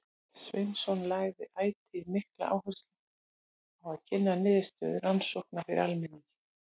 Sveinsson lagði ætíð mikla áherslu á að kynna niðurstöður rannsókna fyrir almenningi.